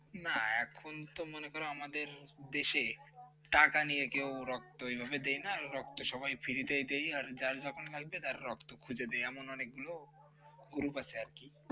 না এখন তো মনে কর আমাদের দেশে টাকা নেই কে রক্ত কিভাবে দেয় না রক্ত সবাই free দেয় আর যার যখন লাগছে সে রক্ত খুঁজে দেয় এমন অনেকগুলো গ্রুপ আছে আর কি ।